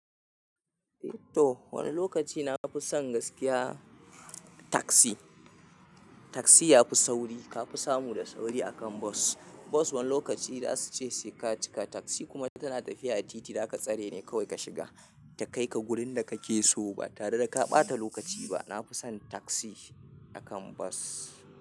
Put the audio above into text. To wani lokaci na fi son gaskiya. Taksi, taksi ya fi sauri. Ka fi samu da sauri akan bus. Bus wani lokaci zasu ce saika cika. Taksi kuma tana tafiya a titi, da ka tsare ne kawai ka shiga. Ta kaika gurin da kake so ba tare da ka ɓata lokaci ba. Nafi sin taksi akan bus.